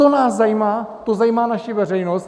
To nás zajímá, to zajímá naši veřejnost.